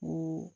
U